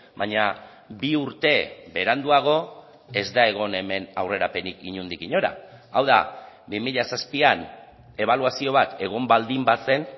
baina bi urte beranduago ez da egon hemen aurrerapenik inondik inora hau da bi mila zazpian ebaluazio bat egon baldin bazen